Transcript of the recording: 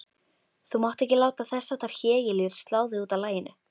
Þú mátt ekki láta þessháttar hégiljur slá þig útaf laginu.